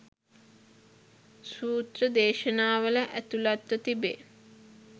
සූත්‍ර දේශනාවල ඇතුළත්ව තිබේ.